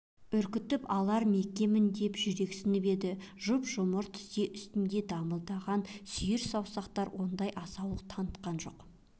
үркітіп алар ма екенмін деп жүрексініп еді жұп-жұмыр тізе үстінде дамылдаған сүйір саусақтар ондай асаулық танытқан жоқ